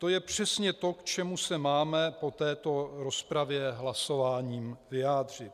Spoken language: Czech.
To je přesně to, k čemu se máme po této rozpravě hlasováním vyjádřit.